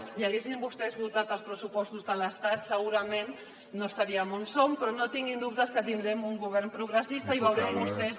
si haguessin vostès votat els pressupostos de l’estat segurament no seríem on som però no tinguin dubtes que tindrem un govern progressista i veuran vostès